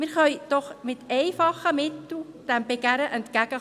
Wir können diesem Begehren mit einfachen Mitteln entgegenkommen: